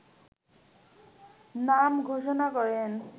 নাম ঘোষণা করেন